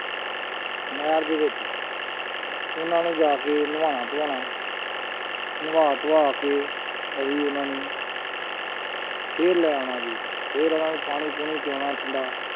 ਨਹਿਰ ਦੇ ਵਿੱਚ ਉਹਨਾਂ ਨੂੰ ਜਾ ਕੇ ਨਵਾਉਣਾ ਧਵਾਉਣਾ ਨਵਾ ਧਵਾ ਕੇ ਅਸੀਂ ਉਹਨਾਂ ਨੂੰ ਫਿਰ ਲੈ ਆਉਣਾ ਜੀ ਫਿਰ ਉਹਨਾਂ ਨੂੰ ਪਾਣੀ ਪੂਣੀ ਪਿਲਾਉਣਾ ਠੰਢਾ।